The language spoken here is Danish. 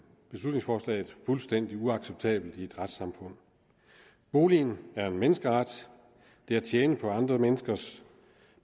beslutningsforslaget fuldstændig uacceptabelt i et retssamfund boligen er en menneskeret det at tjene på andre menneskers